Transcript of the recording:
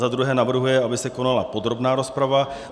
Za druhé navrhuje, aby se konala podrobná rozprava.